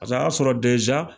Paseke a y'a sɔrɔ